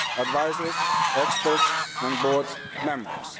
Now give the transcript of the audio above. advisers, experts and board members.